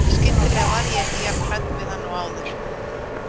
Skyndilega var ég ekki jafn hrædd við hann og áður.